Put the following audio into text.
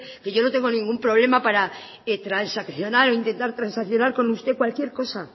que yo no tengo ningún problema para transaccionar o intentar transaccionar con usted cualquier cosa